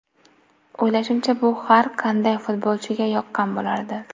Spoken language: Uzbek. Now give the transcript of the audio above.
O‘ylashimcha, bu har qanday futbolchiga yoqqan bo‘lardi”.